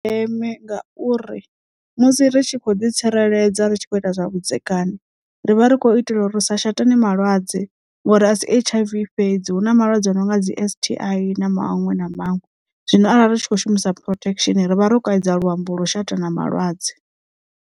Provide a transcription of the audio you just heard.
Ndi zwa ndeme ngauri musi ri tshi khou ḓi tsireledza ritshi kho ita zwa vhudzekani ri vha ri khou itela uri ri sa shatane malwadze ngori asi H_I_V fhedzi hu na malwadze a no nga dzi S_T_I na maṅwe na maṅwe zwino arali ri tshi khou shumisa protection rivha ro kaidza luambo lwau shatana malwadze.